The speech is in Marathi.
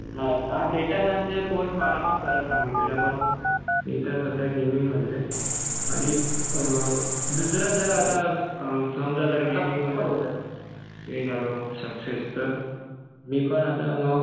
हा डेटा सायन्सचे कोर्स मला पण खरं सांगितलेलं. पण मी तर सध्या गेमिंगमध्ये आहे. आणि दुसरं जर आता समजा जर गेमिंगमध्ये मी झालो सक्सेस तर मी पण आता मग